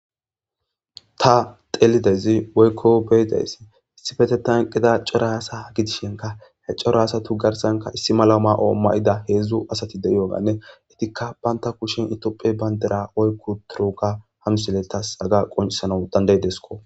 ta telidezi woykko beedays issifete tanqida cora hasa gidishenka he cora asatu garsanka issi malo ma7o mayida heedzdzu asatide yooganne itikka baynta kushin itophe bayndera woykku turuga hamsille tas aga qonsano dandaydesko